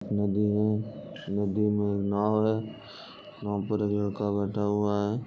नदी हैनदी में नाव है। नाव पर एक लड़का बैठा हुआ है।